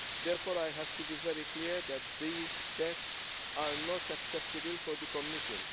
Therefore, I have to be very clear that these texts are not acceptable for the Commission.